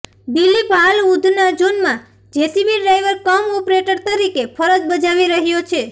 દિલીપ હાલ ઉધના ઝોનમાં JCB driver cum operator તરીકે ફરજ બજાવી રહ્યો છે